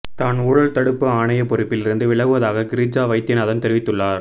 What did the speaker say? தான் ஊழல் தடுப்பு ஆணைய பொறுப்பில் இருந்து விலகுவதாக கிரிஜா வைத்தியநாதன் தெரிவித்துள்ளார்